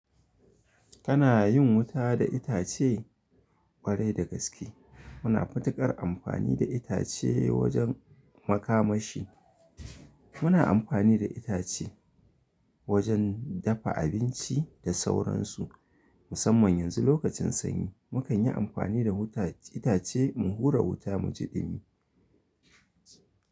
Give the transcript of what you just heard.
Kana yin wuta da itace? Ƙwarai da gaske. Muna matuƙar amfani da itace, wajen makamashi. Muna amfani da itace, wajen dafa abinci da sauransu. Musamman yanzu lokacin sanyi, mu kan yi amfani da itace, mu hura wuta mu ji ɗumi.